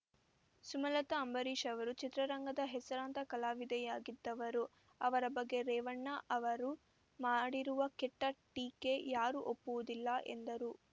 ಸುಮಲತಾ ಅಂಬರೀಷ್ ಅವರು ಚಿತ್ರರಂಗದ ಹೆಸರಾಂತ ಕಲಾವಿದೆಯಾಗಿದ್ದವರು ಅವರ ಬಗ್ಗೆ ರೇವಣ್ಣ ಅವರು ಮಾಡಿರುವ ಕೆಟ್ಟ ಟೀಕೆ ಯಾರೂ ಒಪ್ಪುವುದಿಲ್ಲ ಎಂದರು